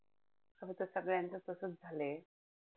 खरंतर सगळ्याचं तसंच झालंय.